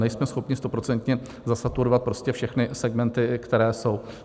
Nejsme schopni stoprocentně saturovat prostě všechny segmenty, které jsou.